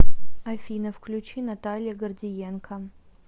афина включи наталья гордиенко